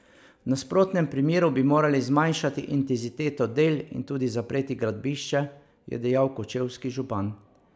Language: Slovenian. V nasprotnem primeru bi morali zmanjšati intenziteto del in tudi zapreti gradbišče, je dejal kočevski župan.